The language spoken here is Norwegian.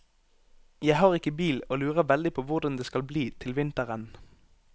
Jeg har ikke bil og lurer veldig på hvordan det skal bli til vinteren.